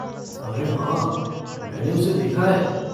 अरे हाँ! मैंने उसे देखा है।